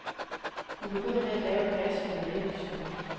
Hun begynder med at lave et glas med lavendelsukker.